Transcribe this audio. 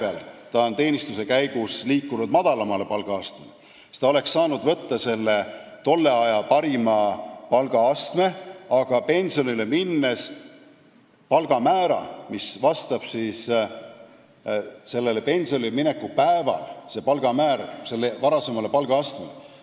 Kui ta aga on teenistuse käigus liikunud madalamale palgaastmele, siis ta saaks valida tolle aja parima palgaastme, pensionile minnes siis palgamäära, mis vastab tema pensionile mineku päeval kehtinud palgamäärale, palgamäära, mis vastab sellele tema varasemale palgaastmele.